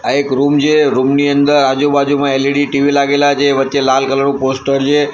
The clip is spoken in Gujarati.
આ એક રૂમ છે રૂમની અંદર આજુ-બાજુમાં એલ_ઇ_ડી ટીવી લાગેલા છે વચ્ચે લાલ કલર નું પોસ્ટર છે.